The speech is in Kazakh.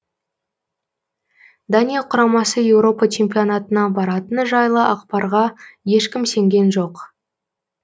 дания құрамасы еуропа чемпионатына баратыны жайлы ақпарға ешкім сенген жоқ